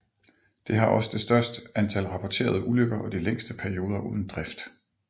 Det har også det størst antal rapporterede ulykker og de længste perioder uden drift